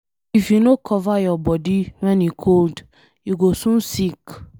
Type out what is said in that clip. If you no cover your body when e cold, you go soon sick.